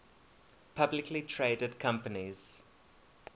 publicly traded companies